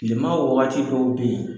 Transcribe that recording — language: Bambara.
Tilema wagati dɔw bɛ yen